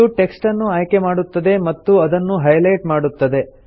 ಇದು ಟೆಕ್ಸ್ಟ್ ಅನ್ನು ಆಯ್ಕೆ ಮಾಡುತ್ತದೆ ಮತ್ತು ಅದನ್ನು ಹೈಲೆಟ್ ಮಾಡುತ್ತದೆ